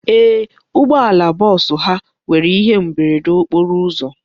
Ee, ụgbọala bọọsụ ha nwere ihe mberede nke okporo ụzọ.